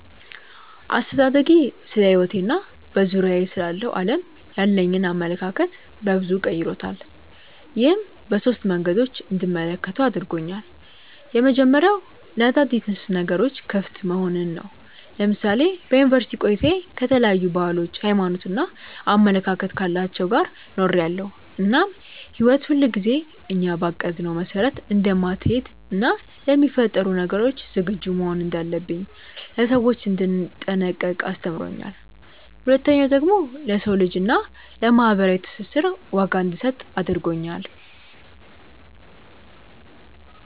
አስተዳደጌ ስለሕይወቴ እና በዙሪያዬ ስላለው ዓለም ያለኝን አመለካከት በበዙ ቀይሮታል። ይህም በሶስት መንገዶች እንድመለከተው አድርጎኛል። የመጀመሪያው ለአዳዲስ ነገሮች ክፍት መሆንን ነው። ለምሳሌ በዩኒቨርስቲ ቆይታዬ ከተለያዩ ባህሎች፣ ሃይማኖት እና አመለካከት ካላቸው ጋር ኖሬያለው እናም ህይወት ሁልጊዜ እኛ ባቀድነው መስመር እንደማትሀለድ እና ለሚፈጠሩ ነገሮች ዝግጁ መሆን እንዳለብኝ፣ ለሰዎች እንድጠነቀቅ አስተምሮኛል። ሁለተኛው ደግሞ ለሰው ልጅ እና ለማህበራዊ ትስስር ዋጋ እንድሰጥ አድርጎኛል።